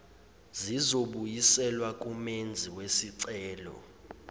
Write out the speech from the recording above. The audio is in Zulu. zizobuyiselwa kumenzi wesicelo